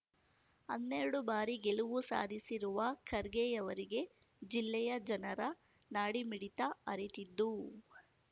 ಅನ್ನೆರಡು ಬಾರಿ ಗೆಲುವು ಸಾಧಿಸಿರುವ ಖರ್ಗೆಯವರಿಗೆ ಜಿಲ್ಲೆಯ ಜನರ ನಾಡಿಮಿಡಿತ ಅರಿತಿದ್ದು